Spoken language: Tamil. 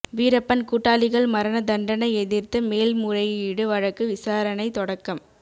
வீரப்பன் கூட்டாளிகள் மரண தண்டனை எதிர்த்து மேல்முறையீடு வழக்கு விசாரணை தொடக்கம்